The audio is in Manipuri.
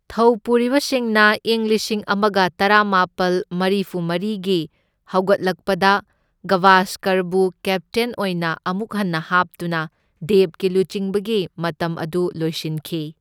ꯊꯧꯄꯨꯔꯤꯕꯁꯤꯡꯅ ꯏꯪ ꯂꯤꯁꯤꯡ ꯑꯃꯒ ꯇꯔꯥꯃꯥꯄꯜ ꯃꯔꯤꯐꯨꯃꯔꯤꯒꯤ ꯍꯧꯒꯠꯂꯛꯄꯗ ꯒꯚꯥꯁꯀꯔꯕꯨ ꯀꯦꯞꯇꯦꯟ ꯑꯣꯏꯅ ꯑꯃꯨꯛ ꯍꯟꯅ ꯍꯥꯞꯇꯨꯅ ꯗꯦꯕꯀꯤ ꯂꯨꯆꯤꯡꯕꯒꯤ ꯃꯇꯝ ꯑꯗꯨ ꯂꯣꯏꯁꯤꯟꯈꯤ꯫